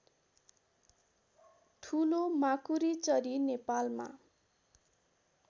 ठुलो माकुरीचरी नेपालमा